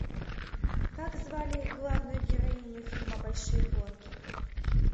как звали главную героиню фильма большие гонки